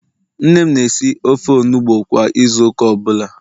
nne m na-esi ofe onugbo kwa Ịzụ ụka ọbụla